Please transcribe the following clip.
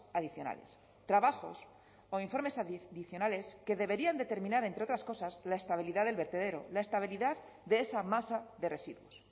adicionales trabajos o informes adicionales que deberían determinar entre otras cosas la estabilidad del vertedero la estabilidad de esa masa de residuos